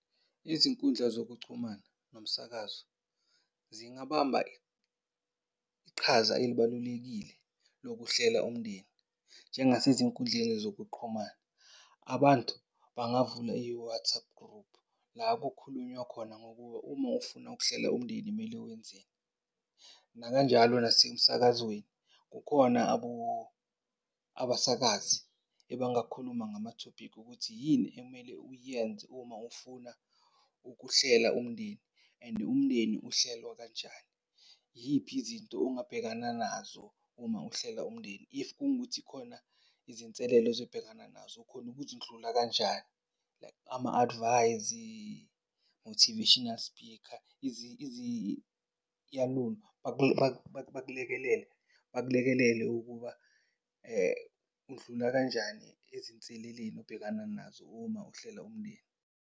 Izinkundla zokuchumana nomsakazo zingabamba iqhaza elibalulekile lokuhlela umndeni. Njengasezinkundleni zokuqhumana, abantu bangavula i-WhatsApp group la kukhulunywa khona ngokuba uma ufuna ukuhlela umndeni mele wenzeni. Nakanjalo nasemsakazweni kukhona abasakazi ebangakhuluma ngamathophikhi ukuthi yini ekumele uyenze uma ufuna ukuhlela umndeni, and umndeni uhlelwa kanjani? Yiphi izinto ongabhekana nazo uma uhlela umndeni. If kungukuthi khona izinselelo ozobhekana nazo, ukhona ukuzindlula kanjani? Like, ama-advice-izi, motivational speaker. bakulekelele bakulekelele ukuba, undlula kanjani eziseleleni obhekana nazo uma uhlela umndeni.